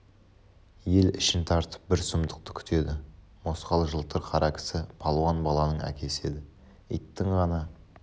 ел ішін тартып бір сұмдықты күтеді мосқал жылтыр қара кісі палуан баланың әкесі еді иттің ғана